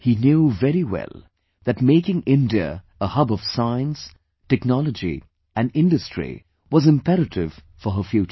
He knew very well that making India a hub of science, technology and industry was imperative for her future